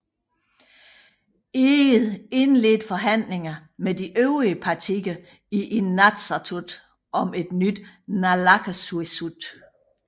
Egede indledte forhandlinger med de øvrige partier i Inatsisartut om et nyt Naalakkersuisut